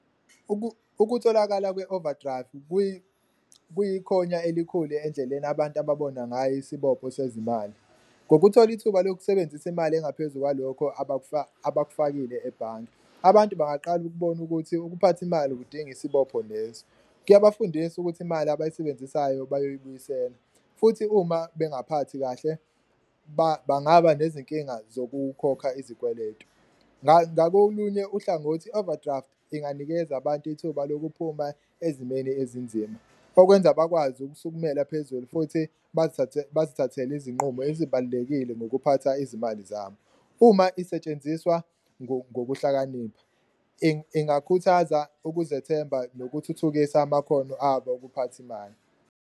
Ukutholakala kwe-overdrive kuyikhonya elikhulu endleleni abantu ababona ngayo isibopho sezimali, ngokuthola ithuba lokusebenzisa imali engaphezu kwalokho abakufakile ebhange, abantu bangaqala ukubona ukuthi ukuphatha imali ukudinga isibopho leso. Kuyabafundisa ukuthi imali abayisebenzisayo bayoyibuyisela futhi uma bengaphakathi kahle, bangaba nezinkinga zokukhokha izikweletu. Ngakolunye uhlangothi i-overdraft inganikeza abantu ithuba lokuphuma ezimeni ezinzima okwenza bakwazi ukusukumela phezulu futhi bazithathele izinqumo ezibalulekile nokuphatha izimali zabo. Uma isetshenziswa ngokuhlakanipha ingakhuthaza ukuzethemba nokuthuthukisa amakhono abo okuphatha imali.